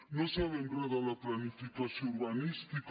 no en sabem re de la planificació urbanística